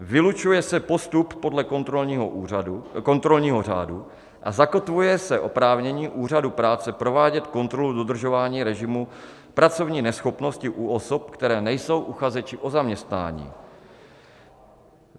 Vylučuje se postup podle kontrolního řádu a zakotvuje se oprávnění Úřadu práce provádět kontrolu dodržování režimu pracovní neschopnosti u osob, které nejsou uchazeči o zaměstnání.